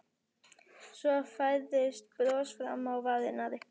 Svo færðist bros fram á varirnar.